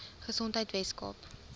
gesondheidweskaap